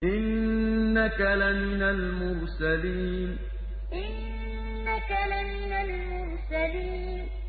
إِنَّكَ لَمِنَ الْمُرْسَلِينَ إِنَّكَ لَمِنَ الْمُرْسَلِينَ